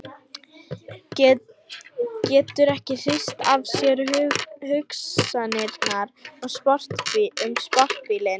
Getur ekki hrist af sér hugsanirnar um sportbílinn.